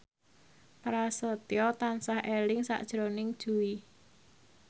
Prasetyo tansah eling sakjroning Jui